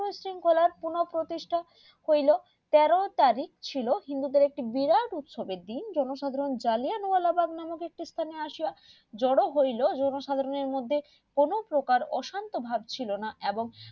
সেই শৃঙ্খলার পান প্রতিষ্টা হইলো তেরো তারিখ ছিল হিন্দুদের একটা বিরাট উৎসব এর দিন যেটা সবাই জাল্লিয়ানওয়ালা বাঘ বলিয়া জড়ো হইলো কোনো প্রকার অশান্ত ভাব ছিলোনা এবং